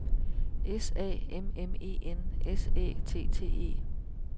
S A M M E N S Æ T T E